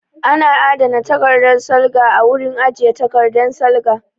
Ana adana takardan salga a wurin ajiye takardan salga